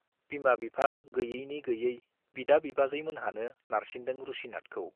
बिमा-बिफा गैयैनि-गैयै बिदा-बिबाजै मोनहानो नारसिनदों रुसिनाथखौ।